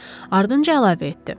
Ardınca əlavə etdi.